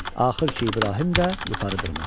Axır ki, İbrahim də yuxarı dırmaşdı.